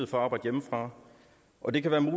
for at arbejde hjemmefra og det kan